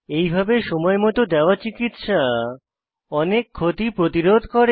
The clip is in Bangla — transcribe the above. এইভাবে সময়মত দেওয়া চিকিত্সা অনেক ক্ষতি প্রতিরোধ করে